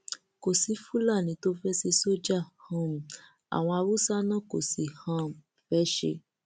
kò sí fúlàní tó fẹẹ ṣe sójà um àwọn haúsá náà kò sì um fẹẹ ṣe